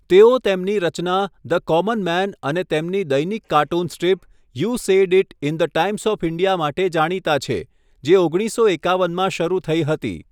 તેઓ તેમની રચના, ધ કોમન મેન અને તેમની દૈનિક cartoon strip, you said it in the Times of India માટે જાણીતા છે, જે ઓગણીસસો એકાવનમાં શરૂ થઈ હતી.